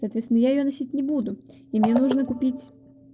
соответственно я её носить не буду и мне нужно купить